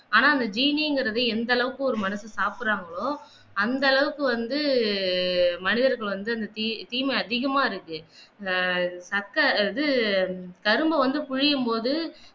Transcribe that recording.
ஆனா அந்த சீனி என்கிறது எந்தளவுக்கு ஒரு மனிதன் சாப்பிடுகிறார்களோ அந்த அளவுக்கு வந்து மனிதர்களுக்கு வந்து அந்த தீ தீமை அதிகமாக இருக்கு ஆஹ் சக்க இது கரும்ப வந்து பிழியும் போது